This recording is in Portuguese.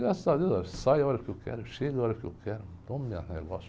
Graças a Deus, eu saio a hora que eu quero, chego a hora que eu quero, tomo meus negócio.